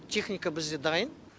техника бізде дайын